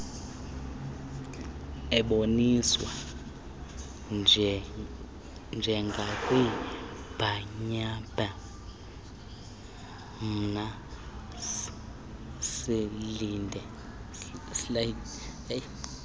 eboniswa njengakwibhanyabhanya slides